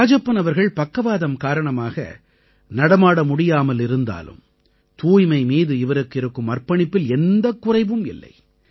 ராஜப்பன் அவர்கள் பக்கவாதம் காரணமாக நடமாட முடியாமல் இருந்தாலும் தூய்மை மீது இவருக்கு இருக்கும் அர்ப்பணிப்பில் எந்தக் குறைவும் இல்லை